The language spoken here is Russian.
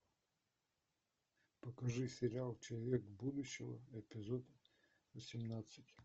покажи сериал человек будущего эпизод восемнадцать